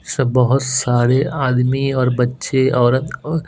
सब बहुत सारे आदमी और बच्चे औरत और--